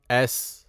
S